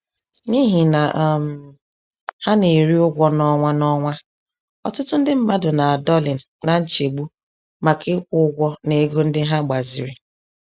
N'ihi na um ha n'eri ụgwọ n'ọnwa n'ọnwa, ọtụtụ ndị mmadụ na-adọlị na nchegbu maka ịkwụ ụgwọ na ego ndị ha gbaziri.